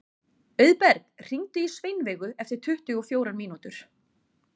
Auðberg, hringdu í Sveinveigu eftir tuttugu og fjórar mínútur.